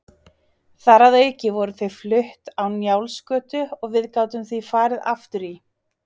Þar að auki voru þau flutt á Njálsgötu og við gátum því farið aftur í